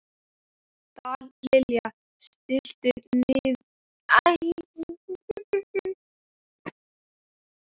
Dallilja, stilltu niðurteljara á níutíu og níu mínútur.